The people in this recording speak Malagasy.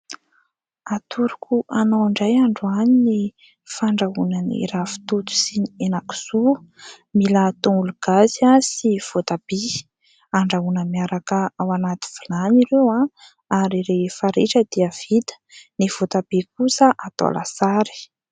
Atoroko anao indray androany ny fandrahoana ny ravintoto sy hena kisoa. Mila tongolo gasy sy voatabia. Andrahoina miaraka anaty vilany ireo ary rehefa ritra dia vita. Ny voatabia kosa atao lasary.